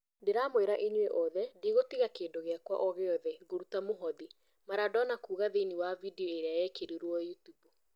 "Ndĩramwĩra inyũi othe ndigutiga kĩndu gĩakwa ogĩothe, ngũruta mũhothi," Maradona kuuga thĩiniĩ wa video ĩrĩa yekirirwo Yutubu.